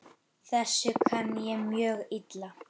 Þessu kann ég mjög illa.